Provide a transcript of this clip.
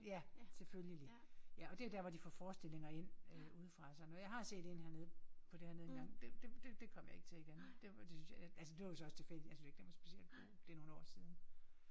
Ja selvfølgelig. Ja og det er der hvor de får forestillinger ind øh udefra og sådan noget. Jeg har set en hernede på det hernede engang. Det det det det kommer jeg ikke til igen det var det synes jeg altså det var jo så også tilfældigt. Jeg synes ikke den var ikke specielt god. Det nogle år siden